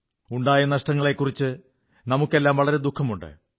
ഉണ്ടായ നഷ്ടങ്ങളെക്കുറിച്ച് നമുക്കെല്ലാം വളരെ ദുഃഖമുണ്ട്